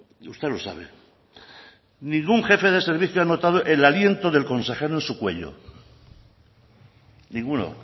y usted lo sabe ningún jefe de servicio ha notado el aliento del consejero en su cuello ninguno